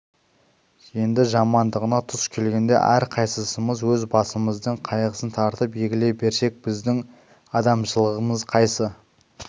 енді жамандығына тұс келгенде әрқайсымыз өз басымыздың қайғысын тартып егіле берсек біздің адамшылығымыз қайсы